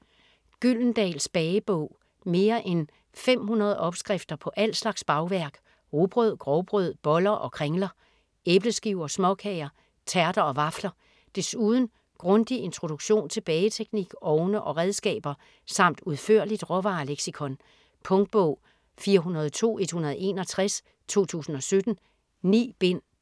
Gyldendals bagebog Mere end 500 opskrifter på al slags bagværk: rugbrød, grovbrød, boller og kringler. Æbleskiver, småkager, tærter og vafler. Desuden grundig introduktion til bageteknik, ovne og redskaber samt udførligt råvareleksikon. Punktbog 402161 2017. 9 bind.